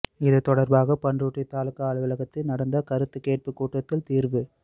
இது தொடர்பாக பண்ருட்டி தாலுகா அலுவலகத்தில் நடந்த கருத்து கேட்பு கூட்டத்தில் தீர்வு